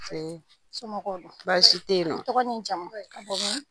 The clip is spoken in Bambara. Nse somɔgɔw dun, baasi tɛ yen nɔ, i tɔgɔ n'i jamu, ka bɔ min